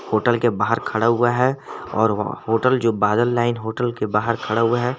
Hotel के बाहर खड़ा हुआ है और होटल जो बादल लाइन होटल के बाहर खड़ा हुआ है।